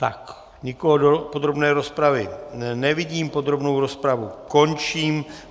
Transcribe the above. Tak, nikoho do podrobné rozpravy nevidím, podrobnou rozpravu končím.